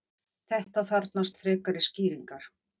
Þetta þarfnast frekari skýringar.